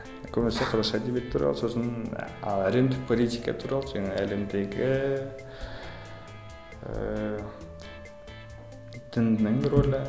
көбінесе қазақша әдебиет туралы сосын а әлемдік политика туралы жаңа әлемдегі ііі діннің рөлі